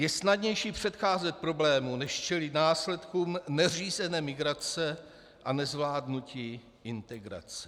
Je snadnější předcházet problému než čelit následkům neřízené migrace a nezvládnutí integrace.